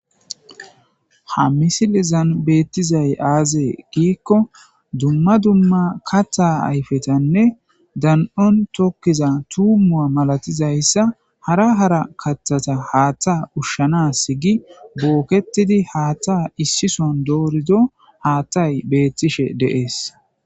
Ha misilizan beettizay aazee giikko dumma dumma katta ayfetanne dan7on tokkiza tuumua malatizayssa hara hara katthata haatta ushshanas gi bookketidi haatta issison doorido haattay beettishe deees.